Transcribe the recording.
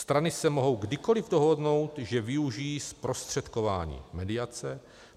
Strany se mohou kdykoli dohodnou, že využijí zprostředkování, mediace.